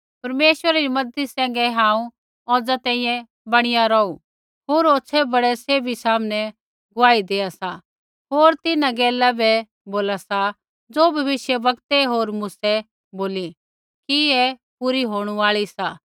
परमेश्वरै री मज़ती सैंघै हांऊँ औज़ा तैंईंयैं बणी रौहू होर होछ़ै ब़डै सैभी सामनै गुआही देआ सा होर तिन्हां गैला बै बोला सा ज़ो भविष्यवक्तै होर मूसै बोली सी कि ऐ पूरी होणू आल़ी सी